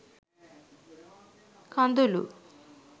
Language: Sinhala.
kadulu